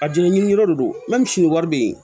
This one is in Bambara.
Ka jinɛ ɲiniyɔrɔ de don ni wari bɛ yen